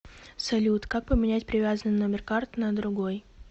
салют как поменять привязанный номер карты на другой